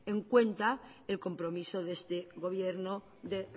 en cuenta el compromiso de este gobierno de